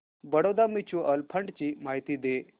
Baroda mutual fund ची माहिती दे